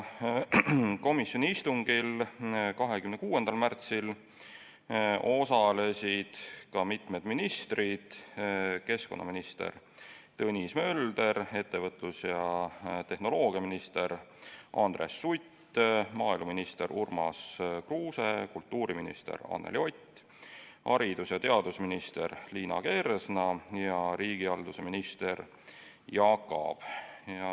Komisjoni 26. märtsi istungil osalesid ka mitu ministrit: keskkonnaminister Tõnis Mölder, ettevõtlus- ja tehnoloogiaminister Andres Sutt, maaeluminister Urmas Kruuse, kultuuriminister Anneli Ott, haridus- ja teadusminister Liina Kersna ja riigihalduse minister Jaak Aab.